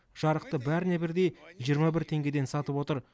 жарықты бәріне бірдей жиырма бір теңгеден сатып отыр